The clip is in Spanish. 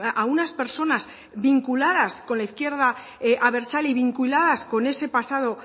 a unas personas vinculadas con la izquierda abertzale y vinculadas con ese pasado